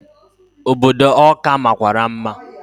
Obodo Ọka makwara mma.